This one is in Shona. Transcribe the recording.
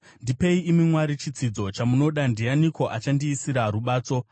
“Ndipei, imi Mwari, chitsidzo chamunoda. Ndianiko achandiisira rubatso?